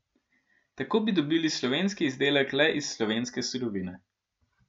Tako bi dobili slovenski izdelek le iz slovenske surovine.